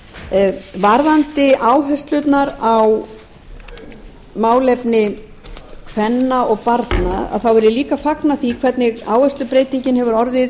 afríku varðandi áherslurnar á málefni kvenna og barna þá vil ég líka fagna því hvernig áherslubreytingin hefur orðið